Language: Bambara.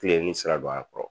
Fileni sira don a kɔrɔ